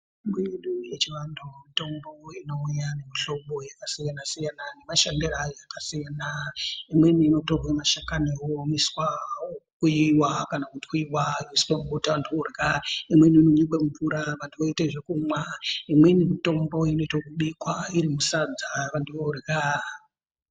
Mitombo yedu yechivantu mitombo inouya ngemuhlobo yakasiyana siyana nemashandiro ayo akasiyana imweni inotorwe mashakani oomeswa okuiwa kana kutwiwa yoiswe mubota antu orya imweni inonyikwe mumvura vantu vomwa imweni mitombo inoite ekubikwa iri musadza vantu vorya.